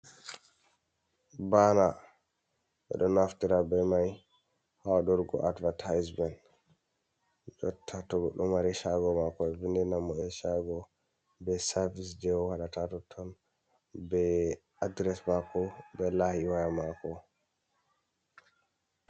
Baana ɓeɗo naftira be mai ha wadurgo advertisement jotta to goɗɗo mari chago mako e vindinamo e chago be serfice jei owoɗata ha toton be adres mako be lahi waya mako.